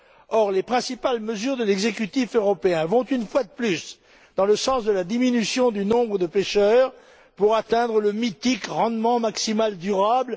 Or, les principales mesures de l'exécutif européen vont, une fois de plus, dans le sens de la diminution du nombre de pêcheurs pour atteindre le mythique rendement maximal durable.